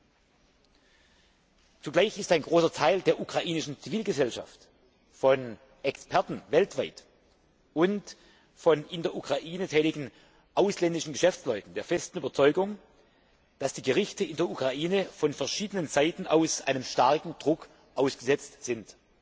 Gleichzeitig ist ein großer Teil der ukrainischen Zivilgesellschaft, von Experten weltweit und von in der Ukraine tätigen ausländischen Geschäftsleuten der festen Überzeugung, dass die Gerichte in der Ukraine von verschiedenen Seiten einem starken Druck ausgesetzt sind.